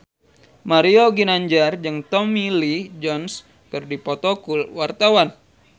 Mario Ginanjar jeung Tommy Lee Jones keur dipoto ku wartawan